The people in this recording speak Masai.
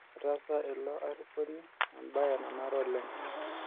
Etaasa ilo ariponi embae nanare oleng'